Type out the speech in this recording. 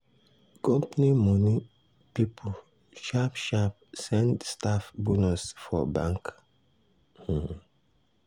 company money people sharp sharp send staff bonus for bank